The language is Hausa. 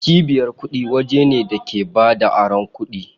Cibiyar kuɗi waje ne da ke bada aron kuɗi.